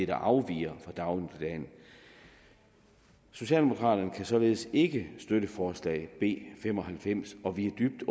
der afviger fra dagligdagen socialdemokraterne kan således ikke støtte forslag nummer b fem og halvfems og vi er dybt